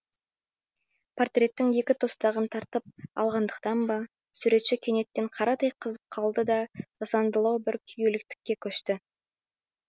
портердің екі тостағын тартып алғандықтан ба суретші кенеттен қарадай қызып қалды да жасандылау бір күйгелектікке көшті